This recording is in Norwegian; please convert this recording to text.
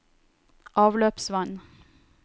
avløpsvann